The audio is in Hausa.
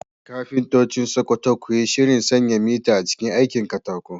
Kafintocin Sakkwato, ku yi shirin sanya mita a cikin aikin katako